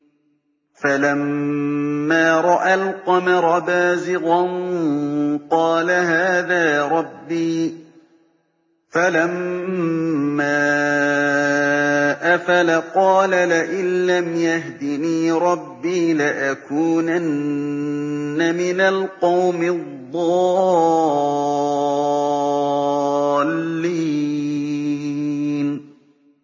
فَلَمَّا رَأَى الْقَمَرَ بَازِغًا قَالَ هَٰذَا رَبِّي ۖ فَلَمَّا أَفَلَ قَالَ لَئِن لَّمْ يَهْدِنِي رَبِّي لَأَكُونَنَّ مِنَ الْقَوْمِ الضَّالِّينَ